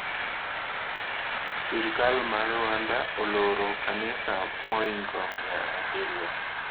Sirikal mar Rwanda oloro kanisa mohingo mia abirio